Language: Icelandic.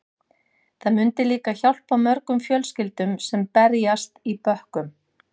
Það myndi líka hjálpa mörgum fjölskyldum sem berjast í bökkum.